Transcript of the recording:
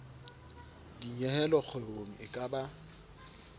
dinyehelo kgwebong e ka ba